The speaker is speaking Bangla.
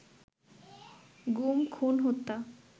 গুম, খুন, হত্যা